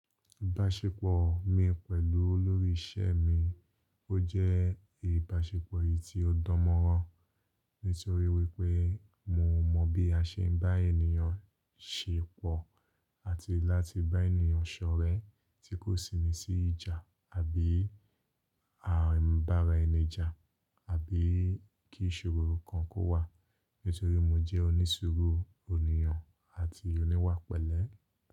Ìbáṣepọ̀ mi pẹ̀lú olórí ìṣe mi ó jẹ́ ìbáṣepọ̀ eyìí tí ó dánmọ́rán nítorí wípé mo mọ̀ bí a ṣe ń bá ènìyàn ṣe pọ̀ àti láti bá ènìyàn ṣọ̀rẹ́ tí kò sì ni sí ìjà àbí an ba ara ẹni jà àbí kí ìṣòro kan kó wà nítorí mo jẹ́ onísuru ènìyàn àti oníwà pẹlẹ.